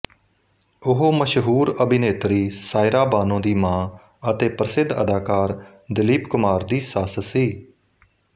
ਉਹ ਮਸ਼ਹੂਰ ਅਭਿਨੇਤਰੀ ਸਾਇਰਾ ਬਾਨੋ ਦੀ ਮਾਂ ਅਤੇ ਪ੍ਰਸਿੱਧ ਅਦਾਕਾਰ ਦਿਲੀਪ ਕੁਮਾਰ ਦੀ ਸੱਸ ਸੀ